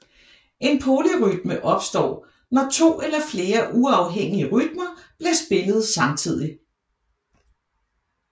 En polyrytme opstår når to eller flere uafhængige rytmer bliver spillet samtidig